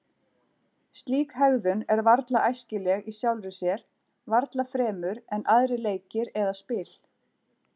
Slík hegðun er varla óæskileg í sjálfri sér, varla fremur en aðrir leikir eða spil.